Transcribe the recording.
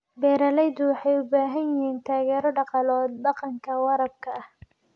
Beeraleydu waxay u baahan yihiin taageero dhaqaale oo dhanka waraabka ah.